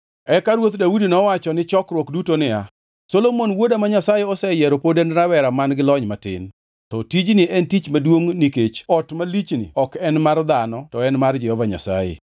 Eka Ruoth Daudi nowacho ni chokruok duto niya, “Solomon wuoda ma Nyasaye oseyiero pod en rawera man-gi lony matin. To tijni en tich maduongʼ nikech ot malichni ok en mar dhano to en mar Jehova Nyasaye.